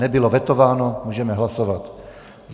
Nebylo vetováno, můžeme hlasovat.